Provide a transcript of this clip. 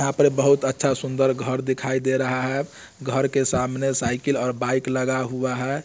यहाँ पर बहुत अच्छा सुंदर घर दिखाई दे रहा है। घर के सामने साइकिल और बाइक लगा हुआ है।